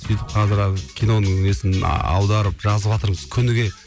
сөйтіп қазір киноның несін аударып жазыватырмыз күніге